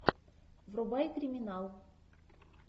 врубай криминал